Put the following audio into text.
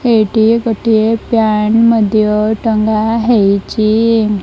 ଏଇଠୀ ଗୋଟିଏ ପ୍ୟାଣ୍ଟ ମଧ୍ୟ ଟଙ୍ଗା ହେଇଚି ।